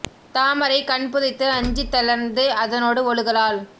தாமரைக் கண்புதைத்து அஞ்சித் தளர்ந்து அதனோடு ஒழுகலால்